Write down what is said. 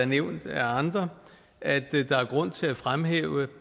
nævnt af andre at der er grund til at fremhæve